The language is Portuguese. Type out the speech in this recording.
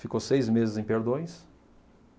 Ficou seis meses em Perdões.